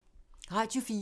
Radio 4